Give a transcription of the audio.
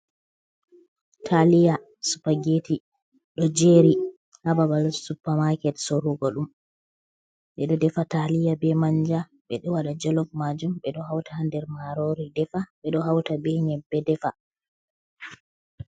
Taliya, supageti ɗo jeri hababal supa maaket sorugo ɗum. ɓeɗo defa taliya be manja, ɓeɗo waɗa jalof majum, ɓeɗo hauta ha nder marori defa, ɓeɗo hauta be nyembe defa.